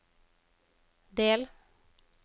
del